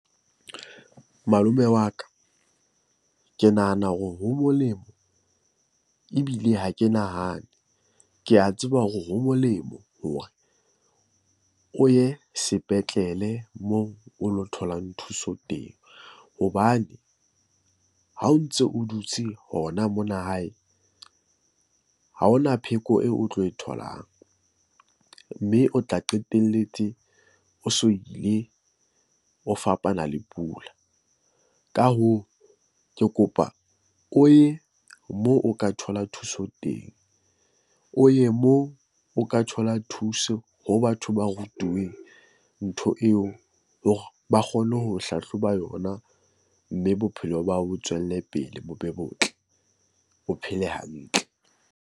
Malome wa ka, ke nahana hore ho molemo ebile ha ke nahane. Ke a tseba hore ho molemo hore o ye sepetlele moo o lo tholang thuso teng. Hobane ha o ntso o dutse hona mona hae ha hona pheko eo o tlo e tholang. Mme o tla qetelletse o so ile, o fapana le pula. Ka hoo, ke kopa o ye moo o ka thola thuso teng, o ye moo o ka thola thuso ho batho ba rutuweng ntho eo hore ba kgone ho hlahloba yona, mme bophelo ba hao bo tswelle pele bo be botle, o phele hantle.